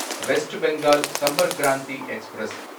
west Bengal Sampark Kranti express